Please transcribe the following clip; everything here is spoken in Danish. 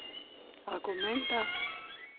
argumenter